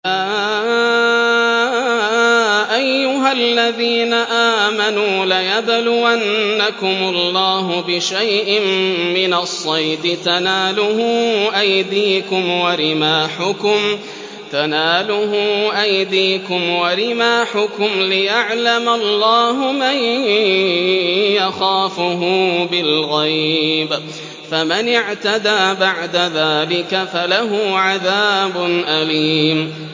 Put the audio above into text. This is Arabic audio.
يَا أَيُّهَا الَّذِينَ آمَنُوا لَيَبْلُوَنَّكُمُ اللَّهُ بِشَيْءٍ مِّنَ الصَّيْدِ تَنَالُهُ أَيْدِيكُمْ وَرِمَاحُكُمْ لِيَعْلَمَ اللَّهُ مَن يَخَافُهُ بِالْغَيْبِ ۚ فَمَنِ اعْتَدَىٰ بَعْدَ ذَٰلِكَ فَلَهُ عَذَابٌ أَلِيمٌ